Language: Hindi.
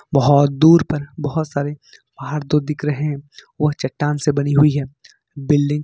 बहोत दूर पर बहोत सारे पहाड़ दो दिख रहे वह चट्टान से बनी हुई है बिल्डिंग --